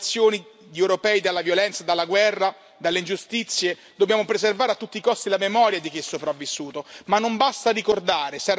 Per mettere in salvo le nuove generazioni di europei dalla violenza, dalla guerra e dalle ingiustizie dobbiamo preservare a tutti i costi la memoria di chi è sopravvissuto.